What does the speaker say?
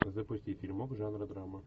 запусти фильмок жанра драма